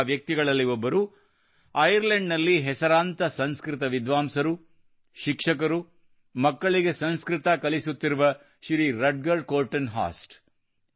ಅಂತಹ ವ್ಯಕ್ತಿಗಳಲ್ಲಿ ಒಬ್ಬರು ಐರ್ಲೆಂಡ್ ನಲ್ಲಿ ಹೆಸರಾಂತ ಸಂಸ್ಕೃತ ವಿದ್ವಾಂಸರು ಹಾಗೂ ಶಿಕ್ಷಕರಾದ ಮಕ್ಕಳಿಗೆ ಸಂಸ್ಕೃತ ಕಲಿಸುತ್ತಿರುವ ಶ್ರೀ ರಟಗರ್ ಕೋರ್ಟನ್ ಹಾಸ್ಟ್